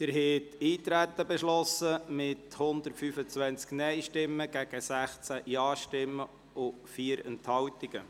Sie haben Eintreten beschlossen mit 125 Nein- gegen 16 Ja-Stimmen bei 4 Enthaltungen.